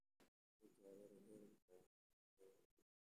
Sababta cudurka Kyrlka ayaan hadda la garanayn.